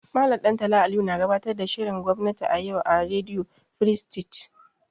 Mallam Ɗantala Aliyu na gabatar da shirin gwamnati a yau a rediyo firistij.